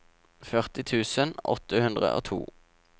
førti tusen åtte hundre og to